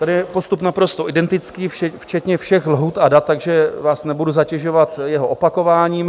Tady je postup naprosto identický včetně všech lhůt a dat, takže vás nebudu zatěžovat jeho opakováním.